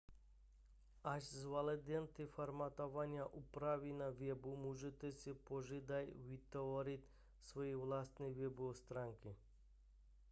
až zvládnete formátování a úpravy na webu můžete si později vytvořit své vlastní webové stránky